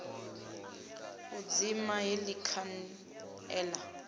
u dzima heḽi khan ela